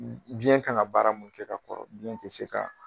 Biɲɛ ka kan ka baara mun kɛ ka kɔrɔ, biɲɛ tɛ se